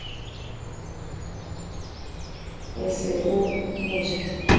o se o mo ja